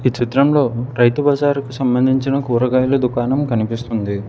చిత్రంలో రైతు బజారు కు సంబంధించిన కూరగాయల దుకాణం కనిపిస్తుంది.